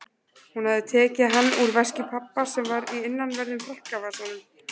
Hún hafði tekið hann úr veski pabba sem var í innanverðum frakkavasanum.